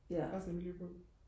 resten af mit liv på